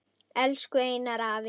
Elsku Einar afi.